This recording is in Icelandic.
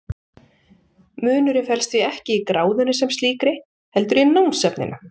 Munurinn felst því ekki í gráðunni sem slíkri heldur í námsefninu.